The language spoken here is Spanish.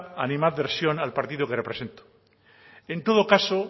inadversión al partido que represento en todo caso